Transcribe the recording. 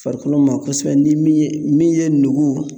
Farikolo ma kosɛbɛ ni min ye min ye nugu